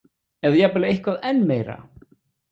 Eða jafnvel eitthvað enn meira?